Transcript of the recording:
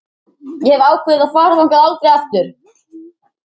Ég hef ákveðið að fara þangað aldrei aftur.